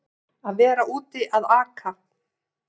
Að vera úti að aka